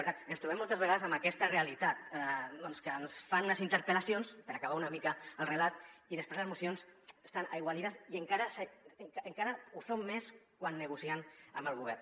per tant ens trobem moltes vegades amb aquesta realitat que ens fan unes interpel·lacions per acabar una mica el relat i des·prés les mocions estan aigualides i encara ho són més quan negocien amb el govern